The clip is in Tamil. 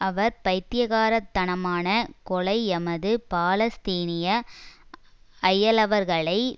அவர் பைத்தியகாரத்தனமான கொலை எமது பாலஸ்தீனிய அயலவர்களை